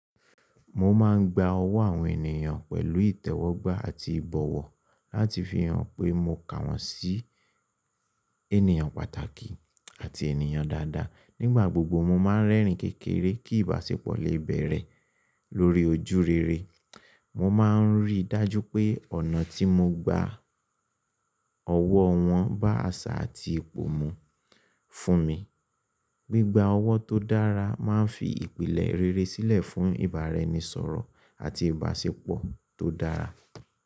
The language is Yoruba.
Mo máa ń gba ọwọ́ àwọn ènìyàn pẹ̀lú ìtẹ́wọ́gbà àti ìbọ̀wọ̀ láti fi hàn pé mo kà wọ́n sí ènìyàn pàtàkì àti ènìyàn dáadáa. Nígbà gbogbo, mo máa ń rẹ́rìn-ín kékeré kí ìbáṣepọ̀ lè bẹ̀rẹ̀ lórí ojú rere. Mo máa ń rí i dájú pé ọ̀nà tí mo gba ọwọ́ wọn bá àṣà àti ipò mu fún mi. Gbigba ọwọ́ tó dára máa ń fi ìpìlẹ̀ rere sílẹ̀ fún ìbáraẹnisọ̀rọ̀ àti ìbáṣepọ̀ tó dára.